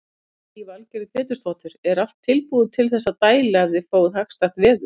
Lillý Valgerður Pétursdóttir: Er allt tilbúið til þess að dæla ef þið fáið hagstætt veður?